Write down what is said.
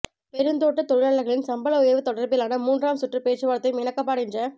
பெருந்தோட்ட தொழிலாளர்களின் சம்பள உயர்வு தொடர்பிலான மூன்றாம் சுற்று பேச்சுவார்த்தையும் இணக்கப்பாடின்ற